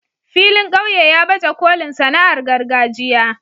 filin ƙauye ya baje kolin sana'ar gargajiya.